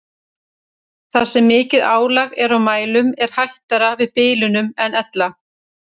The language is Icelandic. Þar sem mikið álag er á mælum er hættara við bilunum en ella.